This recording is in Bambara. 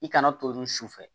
I kana tolin su fɛ